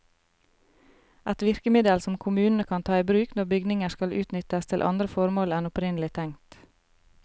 Et virkemiddel som kommunene kan ta i bruk når bygninger skal utnyttes til andre formål enn opprinnelig tenkt.